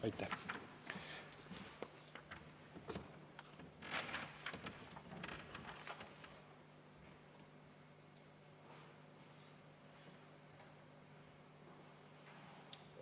Aitäh!